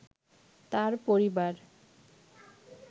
তাঁর পরিবার